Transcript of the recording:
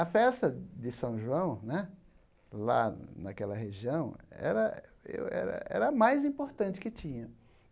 A festa de São João né, lá naquela região, era era a mais importante que tinha.